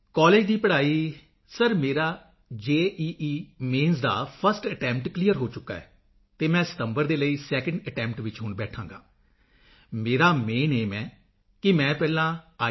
college ਦੀ ਪੜ੍ਹਾਈ sir ਮੇਰਾ ਜੀ ਮੇਨਜ਼ ਦਾ ਫਰਸਟ ਅਟੈਂਪਟ ਕਲੀਅਰ ਹੋ ਚੁੱਕਾ ਹੈ ਅਤੇ ਮੈਂ ਸਤੰਬਰ ਦੇ ਲਈ ਸੈਕੰਡ ਅਟੈਂਪਟ ਵਿੱਚ ਹੁਣ ਬੈਠਾਂਗਾ ਮੇਰਾ ਮੇਨ ਏਮ ਹੈ ਕਿ ਮੈਂ ਪਹਿਲਾਂ ਆਈ